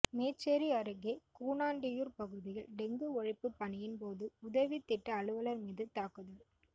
மேச்சேரி அருகே கூனாண்டியூர் பகுதியில் டெங்கு ஒழிப்பு பணியின் போது உதவி திட்ட அலுவலர் மீது தாக்குதல்